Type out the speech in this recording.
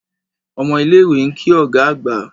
Omo ile iwe nki oga agba.